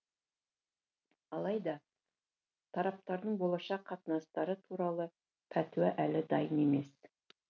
алайда тараптардың болашақ қатынастары туралы пәтуа әлі дайын емес